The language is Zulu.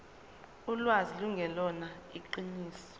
ulwazi lungelona iqiniso